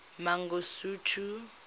mangosuthu